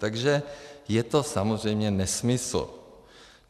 Takže je to samozřejmě nesmysl.